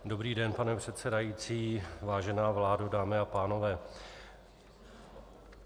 Dobrý den, pane předsedající, vážená vládo, dámy a pánové.